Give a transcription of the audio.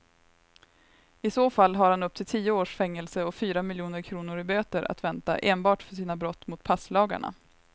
I så fall har han upp till tio års fängelse och fyra miljoner kronor i böter att vänta enbart för sina brott mot passlagarna.